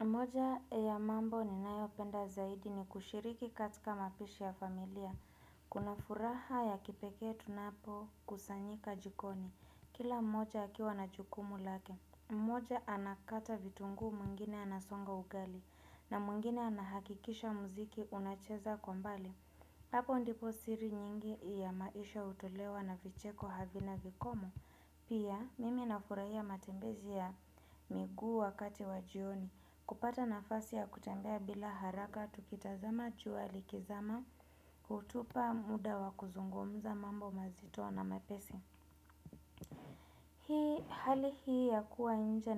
Moja ya mambo ninayopenda zaidi ni kushiriki katika mapishi ya familia. Kuna furaha ya kipeke tunapo kusanyika jikoni. Kila mmoja akiwa na jukumu lake. Mmoja anakata vitungu muingine anasonga ugali. Na muingine anahakikisha mziki unacheza kwa mbali. Hapo ndipo siri nyingi ya maisha utolewa na vicheko havina vikomo. Pia mimi nafurahia matembezi ya miguu wakati wajioni. Kupata nafasi ya kutembea bila haraka, tukitazama jua likizama, utupa muda wa kuzungumza mambo mazito na mepesi. Hii hali hii ya kuwa nje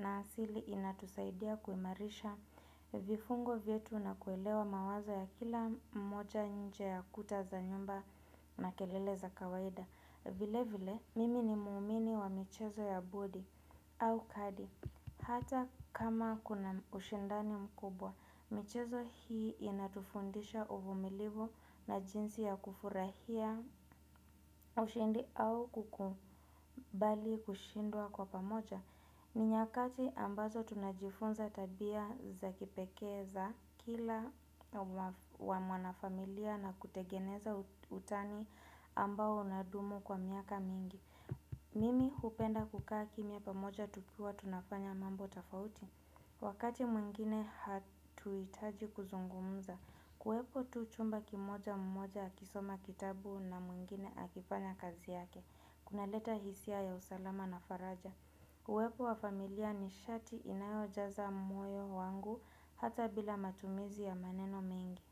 na asili inatusaidia kuimarisha vifungo vietu na kuelewa mawazo ya kila mmoja nje ya kuta za nyumba na kelele za kawaida. Vile vile, mimi ni muumini wa michezo ya bodi au kadi. Hata kama kuna ushindani mkubwa, michezo hii inatufundisha uvumilivu na jinsi ya kufurahia ushindi au kukubali kushindua kwa pamoja. Ni nyakati ambazo tunajifunza tabia za kipeke za kila wa mwanafamilia na kutegeneza utani ambao unadumu kwa miaka mingi Mimi hupenda kukaa kimia pamoja tukiwa tunafanya mambo tafauti Wakati mwingine hatuitaji kuzungumza kuwepo tu chumba kimoja mmoja akisoma kitabu na mwingine akifanya kazi yake Kuna leta hisia ya usalama na faraja Uwepo wa familia ni shati inayojaza moyo wangu hata bila matumizi ya maneno mengi.